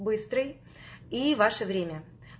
быстрый и ваше время